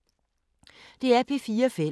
DR P4 Fælles